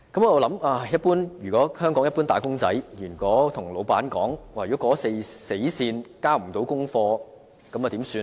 我在想，如果香港一般"打工仔"告訴老闆，過了死線也未可交出功課，那怎麼辦呢？